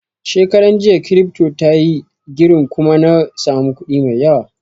Shekaran jiya kiripto tayi girin kuma na samu kuɗi mai yawa